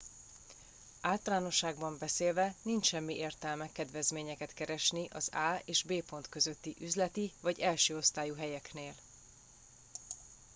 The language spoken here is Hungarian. általánosságban beszélve nincs semmi értelme kedvezményeket keresni az a és b pont közötti üzleti vagy elsőosztályú helyeknél